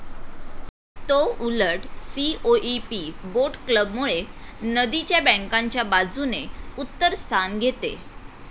तो उलट COEP boat club मुळे नदी च्या बँकांच्या बाजूने उत्तर स्थान घेते.